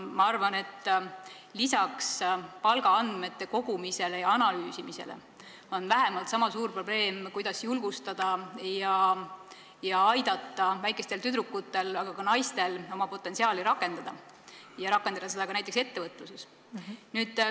Ma arvan, et lisaks palgaandmete kogumisele ja analüüsimisele on vähemalt niisama oluline julgustada väikseid tüdrukuid, aga ka naisi, ja aidata neil oma potentsiaali rakendada ja rakendada seda ka näiteks ettevõtluses.